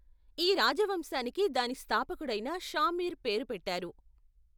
ఈ రాజవంశానికి దాని స్థాపకుడైన షా మీర్ పేరు పెట్టారు.